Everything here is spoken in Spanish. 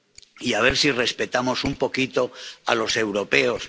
Y a ver si respetamos un poquito a los europeos.